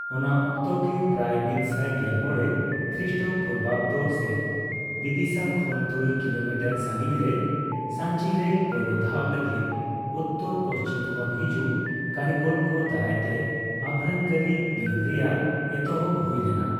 ᱚᱱᱟ ᱚᱠᱛᱚᱜᱮ, ᱯᱨᱟᱭ ᱢᱤᱛᱥᱟᱭ ᱜᱮᱞ ᱢᱚᱲᱮ ᱠᱨᱤᱥᱴᱚᱯᱩᱨᱵᱟᱵᱫᱚ ᱥᱮᱫ, ᱵᱤᱫᱤᱥᱟ ᱠᱷᱚᱱ ᱛᱩᱨᱩᱭ ᱠᱤᱞᱳᱢᱤᱴᱟᱨ ᱥᱟᱸᱜᱤᱧᱨᱮ ᱥᱟᱸᱪᱤᱨᱮ ᱯᱳᱭᱞᱳ ᱫᱷᱟᱣ ᱞᱟᱹᱜᱤᱫ ᱩᱛᱛᱚᱨᱼᱯᱚᱥᱪᱷᱤᱢ ᱠᱷᱚᱱ ᱦᱤᱡᱩᱜ ᱠᱟᱹᱨᱤᱜᱚᱞ ᱠᱚ ᱫᱟᱨᱟᱭᱛᱮ ᱟᱵᱷᱨᱟᱱ ᱠᱟᱹᱨᱤ ᱵᱤᱨᱤᱫ ᱨᱮᱭᱟᱜ ᱮᱛᱚᱦᱚᱯ ᱦᱩᱭ ᱞᱮᱱᱟ ᱾